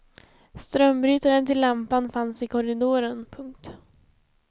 Strömbrytaren till lampan fanns i korridoren. punkt